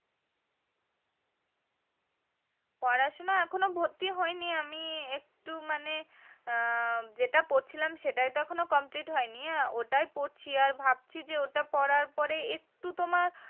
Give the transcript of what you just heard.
পড়াশোনা এখনো ভর্তি হয়নি আমি একটু মানে হুম যেটা পড়ছিলাম সেটাই তো এখনো complete হয়নি হ্যা ওটাই পড়ছি আর ভাবছি ওটা পড়ার পরে একটু তোমার।